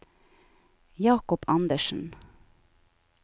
Jakob Andersen